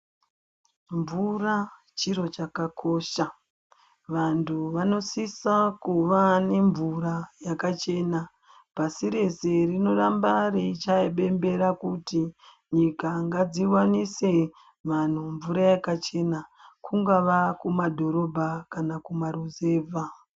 Mvura chiro chakakosha, vantu vanosisa kuva nemvura yakachena, pasi rese raramba reichaya bembera kuti nyika ngadzi wanise vanhu mvura yakachena kungava kumadhorobha kana kuma ruzevha.